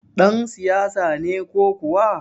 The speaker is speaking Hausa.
Ɗan siyasa ne ko kuwa?